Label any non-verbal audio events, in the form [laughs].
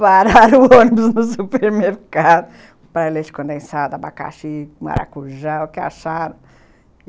[laughs] Pararam o ônibus no supermercado compraram leite condensado, abacaxi, maracujá, o que acharam.